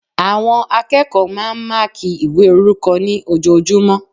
Àwọn akẹ́kọ̀ọ́ máa n máàkí ìwé orúkọ ní ojojúmọ́